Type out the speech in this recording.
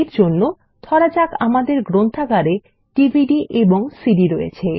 এরজন্য ধরা যাক আমাদের গ্রন্থাগারে ডিভিডি এবং সিডি রয়েছে